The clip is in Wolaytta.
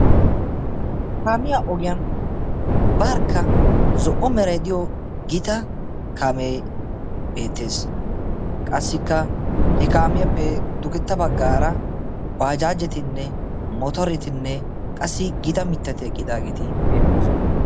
kaamiyaa ogiyan barkka zo''o meray diyo gita kaamee beettees qassikka he kaamiyaappe dugetta baggaara baajaajetinne motoretinne qassi gita mittati eqqidaageeti beettoosona